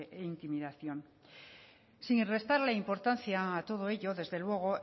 e intimidación sin restarle importancia a todo ello desde luego